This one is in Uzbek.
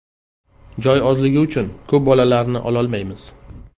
Joy ozligi uchun ko‘p bolalarni ololmaymiz.